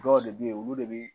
Dɔw de bɛ ye olu de bi